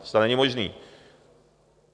To snad není možný!